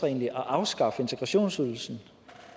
egentlig at afskaffe integrationsydelsen